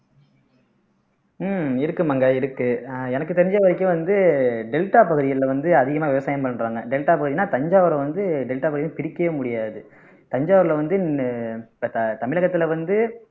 உம் இருக்கு மாங்கா இருக்கு எனக்கு தெரிஞ்ச வரைக்கும் வந்து டெல்டா பகுதிகள்ல வந்து அதிகமா விவசாயம் பண்றாங்க டெல்டா பகுதின்னா தஞ்சாவூரை வந்து டெல்டா பகுதின்னு பிரிக்கவே முடியாது தஞ்சாவூர்ல வந்து இப்ப த தமிழகத்துல வந்து